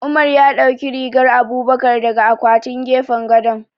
Umar ya ɗauki rigar Abubakar daga akwaman gefen gado.